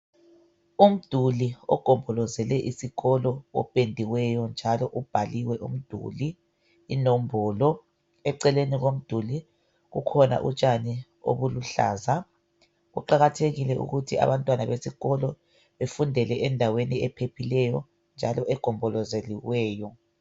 Umduli ogombolozele isikolo opendiweyo njalo ubhaliwe umduli inombolo eceleni komduli kukhona utshani obuluhlaza . Kuqakathekile ukuthi abantwana besikolo befundele endaweni ephephileyo njalo egombolozeliweyo.